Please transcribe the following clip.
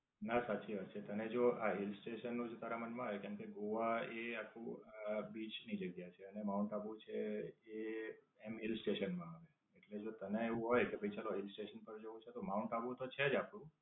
ના, સાચી વાત છે. અને જો આ Hill station નું જ તારા મન માં હોય કેમકે ગોવા એ આખું બીચ ની જગ્યા છે. અને માઉન્ટ આબુ છે એ આમ Hill station માં આવે. એટલે જો તને એક હોય કે ભઈ Hill station પર જવું છે તો માઉન્ટ આબુ તો છે જ આપડું.